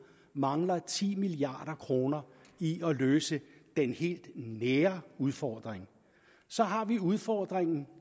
mangler ti milliard kroner i at løse den helt nære udfordring så har vi udfordringen